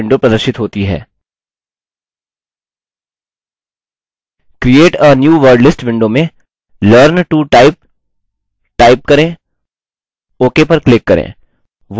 create a new wordlist window में learn to type type करें ok पर click करें